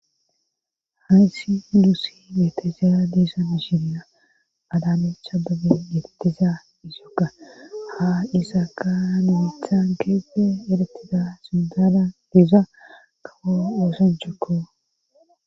hayssi yuusi beetezaa diesa miishirina adamecha babe yeetiza isiyoga ha isaaka numithan keepde eretida sundada diza gabo ooson cokko